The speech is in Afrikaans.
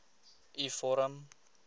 u vorm